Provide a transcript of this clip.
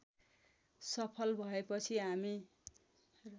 सफल भएपछि हामी